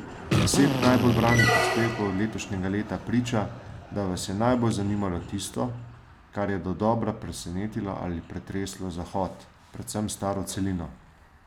Deset najbolj branih prispevkov letošnjega leta priča, da vas je najbolj zanimalo tisto, kar je dodobra presenetilo ali pretreslo Zahod, predvsem staro celino.